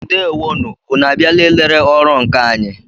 Ndewo nụ! Ụnụ a bịala ị lere ọrụ nkà anyị?